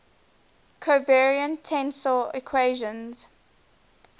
covariant tensor equations